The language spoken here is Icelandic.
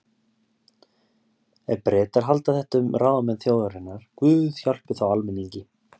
Ef Bretar halda þetta um ráðamenn þjóðarinnar, guð hjálpi þá almenningi.